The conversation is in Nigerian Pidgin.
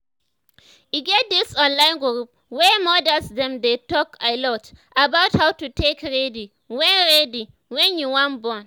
e get this online group wey modas them dey talk alot about how to take ready wen ready wen you wan born